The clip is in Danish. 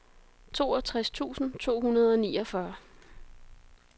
toogtres tusind to hundrede og niogfyrre